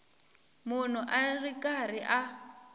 munhu a ri karhi a